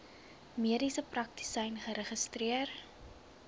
mediese praktisyn geregistreer